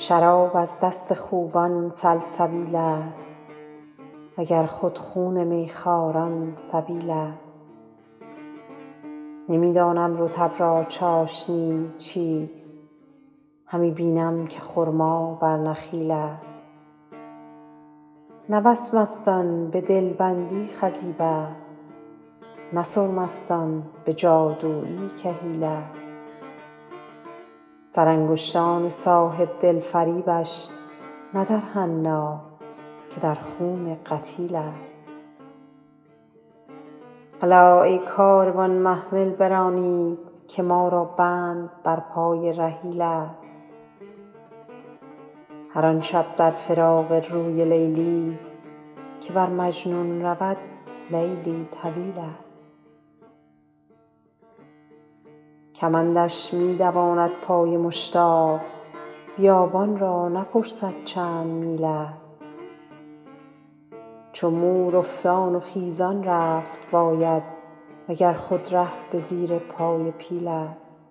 شراب از دست خوبان سلسبیل ست و گر خود خون می خواران سبیل ست نمی دانم رطب را چاشنی چیست همی بینم که خرما بر نخیل ست نه وسمست آن به دل بندی خضیب ست نه سرمست آن به جادویی کحیل ست سرانگشتان صاحب دل فریبش نه در حنا که در خون قتیل ست الا ای کاروان محمل برانید که ما را بند بر پای رحیل ست هر آن شب در فراق روی لیلی که بر مجنون رود لیلی طویل ست کمندش می دواند پای مشتاق بیابان را نپرسد چند میل ست چو مور افتان و خیزان رفت باید و گر خود ره به زیر پای پیل ست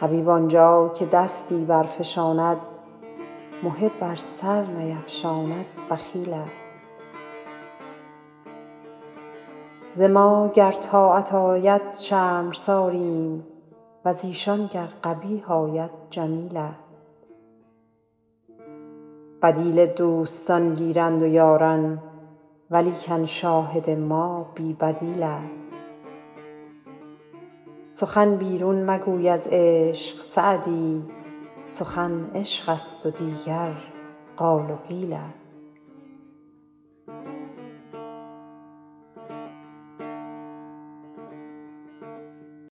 حبیب آن جا که دستی برفشاند محب ار سر نیفشاند بخیل ست ز ما گر طاعت آید شرمساریم و ز ایشان گر قبیح آید جمیل ست بدیل دوستان گیرند و یاران ولیکن شاهد ما بی بدیل ست سخن بیرون مگوی از عشق سعدی سخن عشق ست و دیگر قال و قیل ست